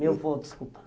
Meu avô, desculpa.